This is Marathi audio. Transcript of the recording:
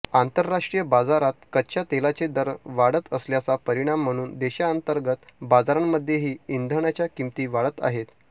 आंतरराष्ट्रीय बाजारात कच्च्या तेलाचे दर वाढत असल्याचा परिणाम म्हणून देशांतर्गत बाजारांमध्येही इंधनाच्या किमती वाढत आहेत